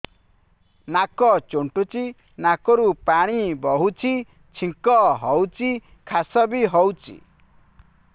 ନାକ ଚୁଣ୍ଟୁଚି ନାକରୁ ପାଣି ବହୁଛି ଛିଙ୍କ ହଉଚି ଖାସ ବି ହଉଚି